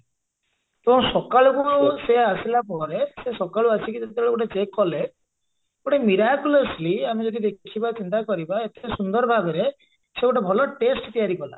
ତ ସକଳକୁ ସେ ଆସିଲା ପରେ ସେ ସକାଳୁ ଆସିକି ଯେତେବେଳେ ଗୋଟେ check କଲେ ଗୋଟେ miraculously ଆମେ ଯଦି ଦେଖିବା ଚିନ୍ତା କରିବା ଏତେ ସୁନ୍ଦର ଭାବରେ ସେ ଗୋଟେ ଭଲ taste ତିଆରି କଲା